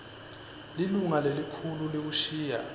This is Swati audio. lilunga lelikhulu liwushiya